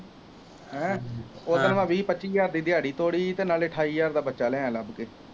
ਹੈਂ ਉਹ ਦਿਨ ਮੈਂ ਵੀਹ ਪੱਚੀ ਹਜ਼ਾਰ ਦੀ ਦਿਹਾੜੀ ਤੋੜੀ ਅਤੇ ਨਾਲੇ ਅਠਾਈ ਹਜ਼ਾਰ ਦਾ ਬੱਚਾ ਲਿਆਇਆਂ ਲੱਭ ਕੇ